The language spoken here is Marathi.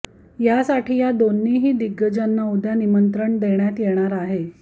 यासाठी या दोन्हीही दिग्गजांना उद्या निमंत्रण देण्यात येणार आहे